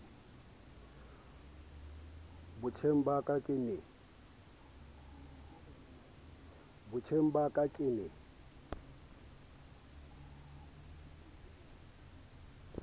botjheng ba ka ke ne